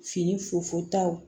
Fini fufuta